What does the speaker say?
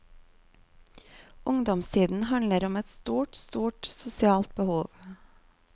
Ungdomstiden handler om et stort, stort sosialt behov.